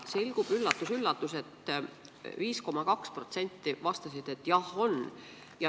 Üllatus-üllatus, 5,2% vastasid, et jah, on.